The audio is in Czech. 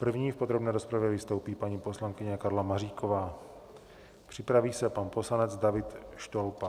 První v podrobné rozpravě vystoupí paní poslankyně Karla Maříková, připraví se pan poslanec David Štolpa.